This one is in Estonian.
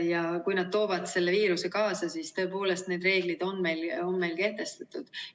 Ja kui nad toovad selle viiruse kaasa, siis tõepoolest, need reeglid on meil kehtestatud.